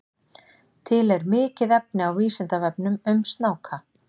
Til er mikið efni á Vísindavefnum um snáka.